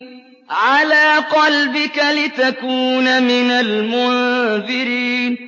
عَلَىٰ قَلْبِكَ لِتَكُونَ مِنَ الْمُنذِرِينَ